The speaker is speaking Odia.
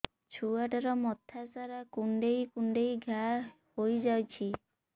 ଛୁଆଟାର ମଥା ସାରା କୁଂଡେଇ କୁଂଡେଇ ଘାଆ ହୋଇ ଯାଇଛି